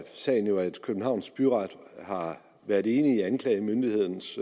sagen jo at københavns byret har været enig i anklagemyndighedens